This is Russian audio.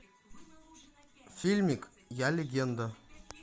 фильмик я легенда